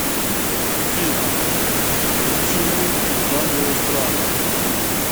афина включи музыку в жанре эстрада